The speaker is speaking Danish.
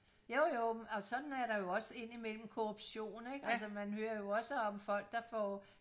jo jo og sådan er der jo også ind i mellem korruption ikke altså man hører jo også om folk der får